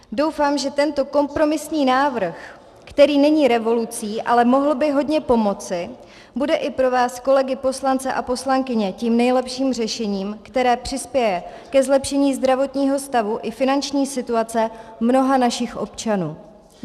Doufám, že tento kompromisní návrh, který není revolucí, ale mohl by hodně pomoci, bude i pro vás, kolegy poslance a poslankyně, tím nejlepším řešením, které přispěje ke zlepšení zdravotního stavu i finanční situace mnoha našich občanů.